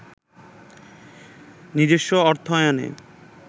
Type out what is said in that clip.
নিজস্ব অর্থায়নে